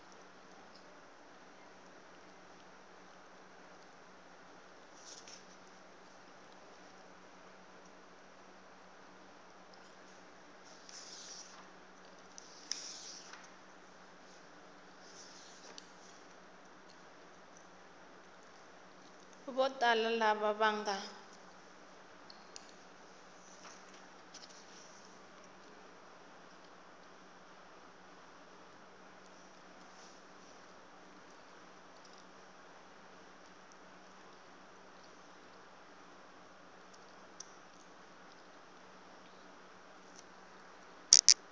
vo tala lava va nga